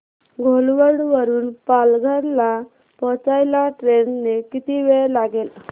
घोलवड वरून पालघर ला पोहचायला ट्रेन ने किती वेळ लागेल